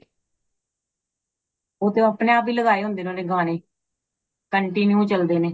ਉਹ ਤੇ ਅਪਣੇ ਆਪ ਹੀ ਲਗਾਏ ਹੋਂਦੇ ਨੇ ਉਨੇ ਗਾਣੇ continue ਚਲਦੇ ਨੇ